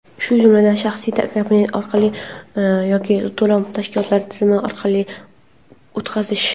shu jumladan shaxsiy kabinet orqali yoki to‘lov tashkilotining tizimi orqali o‘tkazish;.